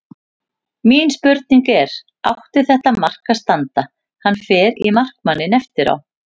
Mín spurning er: Átti þetta mark að standa, hann fer í markmanninn eftir á?